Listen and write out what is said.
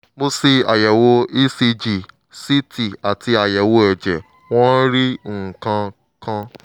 mo ṣe àyẹ̀wò ecg ct àti àyẹ̀wò ẹ̀jẹ̀ wọn ò rí nǹkan kan